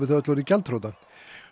þau öll orðið gjaldþrota